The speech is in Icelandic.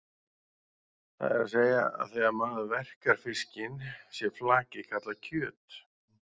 Það er að segja að þegar maður verkar fiskinn sé flakið kallað kjöt.